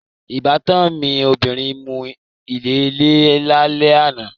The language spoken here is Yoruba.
Ìbátan mi obìnrin nu ilẹ̀lẹ́ẹ̀ lálẹ́ àná